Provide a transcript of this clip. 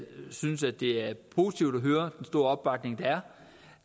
synes det er positivt at høre den store opbakning der